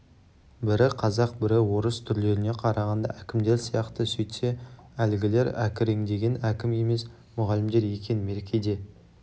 бірі қазақ бірі орыс түрлеріне қарағанда әкімдер сияқты сөйтсе әлгілер әкіреңдеген әкім емес мұғалімдер екен меркеде